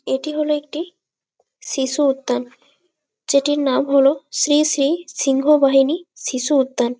এটি হলো একটি শিশু উদ্যান। যেটির নাম হলো শ্রী শ্রী সিংহবাহিনী শিশু উদ্যান।